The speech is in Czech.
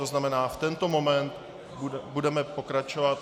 To znamená, v tento moment budeme pokračovat.